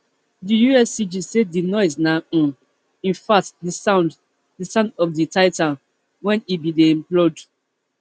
di uscg say di noise na um infact di sound di sound of di titan wen e bin dey implode